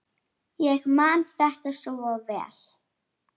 Ég man þetta svo vel.